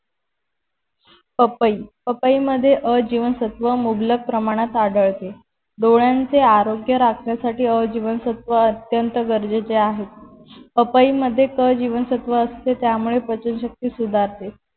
पपई पपई मध्ये अ जीवनसत्व मुबलक प्रमाणात आढळते डोळ्यांचे आरोग्य राखण्यासाठी अ जीवनसत्व अत्यंत गरजेचे आहे पपई मध्ये क जीवनसत्व असते त्यामुळे पचनशक्ती सुधारते